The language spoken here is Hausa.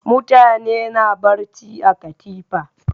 Mutane na barci a katifa.